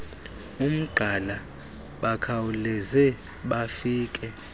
umgqala bakhawuleze bafike